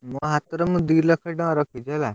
ମୋ ~ହା ~ତରେ ମୁଁ ଦି ଲକ୍ଷ ଟଙ୍କା ରଖିଛି ହେଲା।